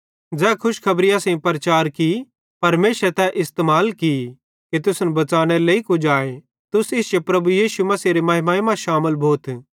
ज़ै खुशखबरी असेईं प्रचार की परमेशरे तै इस्तेमाल की कि तुसन बच़ानेरे लेइ कुजाए तुस इश्शे प्रभु यीशु मसीहेरी महिमाई मां शामिल भोथ